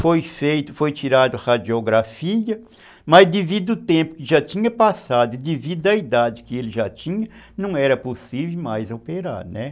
Foi feito, foi tirada a radiografia, mas devido ao tempo que já tinha passado, devido à idade que ele já tinha, não era possível mais operar, né.